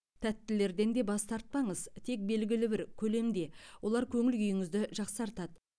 тәттілерден де бас тартпаңыз тек белгілі бір көлемде олар көңіл күйіңізді жақсартады